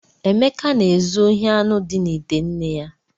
Emeka na-ezu ohi anụ dị n’ite nne ya.